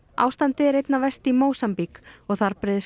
ástandið er einna verst í Mósambík og þar breiðist